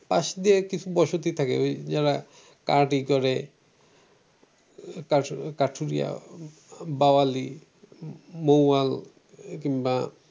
পাশ দিয়ে কিছু বসতি থাকে ওই যারা কাঠ ই করে কাঠুরিয়া কাঠুরিয়া বাওয়ালি মৌয়াল কিংবা